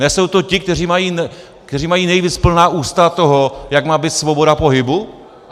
Nejsou to ti, kteří mají nejvíc plná ústa toho, jak má být svoboda pohybu?